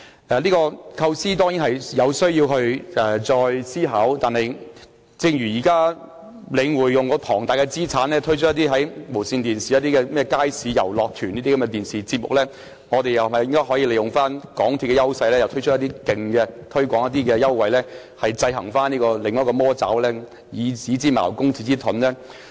這個構思當然需要再加以思考，但正如現時領展利用龐大的資產，在無綫電視推出一個名為"街市遊樂團"的電視節目，我們又是否可以利用港鐵公司的優勢，推出一些更大的優惠，來制衡另一個"魔爪"，以子之矛，攻子之盾呢？